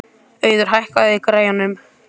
Auður, hækkaðu í græjunum.